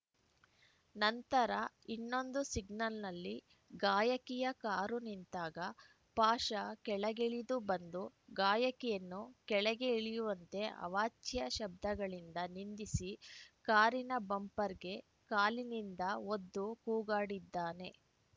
ನಂತರ ಇನ್ನೊಂದು ಸಿಗ್ನಲ್‌ನಲ್ಲಿ ಗಾಯಕಿಯ ಕಾರು ನಿಂತಾಗ ಪಾಷಾ ಕೆಳಗಿಳಿದು ಬಂದು ಗಾಯಕಿಯನ್ನು ಕೆಳಗೆ ಇಳಿಯುವಂತೆ ಅವಾಚ್ಯ ಶಬ್ದಗಳಿಂದ ನಿಂದಿಸಿ ಕಾರಿನ ಬಂಪರ್‌ಗೆ ಕಾಲಿನಿಂದ ಒದ್ದು ಕೂಗಾಡಿದ್ದಾನೆ